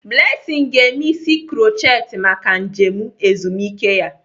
Blessing ga-eme isi krutchet maka njem ezumike ya.